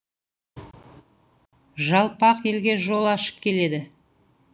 жалпақ елге жол ашып келеді